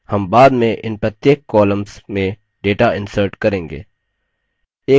हम बाद में इन प्रत्येक कॉमल्स में data insert करेंगे